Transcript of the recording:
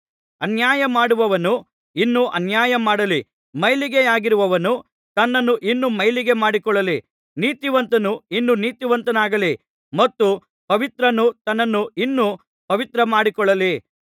ಅನ್ಯಾಯ ಮಾಡುವವನು ಇನ್ನೂ ಅನ್ಯಾಯ ಮಾಡಲಿ ಮೈಲಿಗೆಯಾಗಿರುವವನು ತನ್ನನ್ನು ಇನ್ನು ಮೈಲಿಗೆಯ ಮಾಡಿಕೊಳ್ಳಲಿ ನೀತಿವಂತನು ಇನ್ನೂ ನೀತಿವಂತನಾಗಲಿ ಮತ್ತು ಪವಿತ್ರನು ತನ್ನನ್ನು ಇನ್ನೂ ಪವಿತ್ರ ಮಾಡಿಕೊಳ್ಳಲಿ